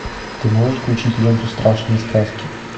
ты можешь включить ленту страшные сказки